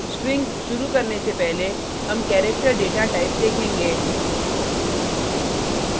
strings शुरु करने से पहले हम पहले character डेटाटाइप देखेंगे